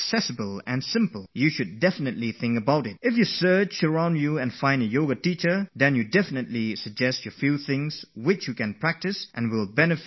Yes, if you have someone nearby who knows Yoga, and if you ask them during your exams, and even if you have never done Yoga before, they will surely be able to tell you a few things to do in Yoga that can very easily be done in a few minutes